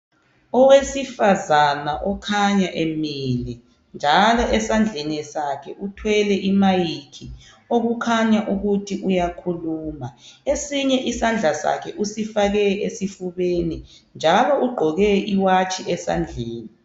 Owesifazana okhanya emile njalo esandleni sakhe uthwele imayikhi okukhanya ukuthi uyakhuluma esinye isandla sakhe usifake esifubeni njalo ugqoke iwatshi esandleni.